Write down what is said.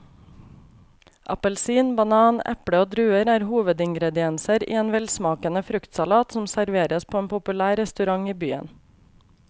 Appelsin, banan, eple og druer er hovedingredienser i en velsmakende fruktsalat som serveres på en populær restaurant i byen.